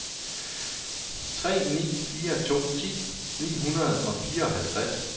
tre ni fire to ti ni hundrede og fireoghalvtreds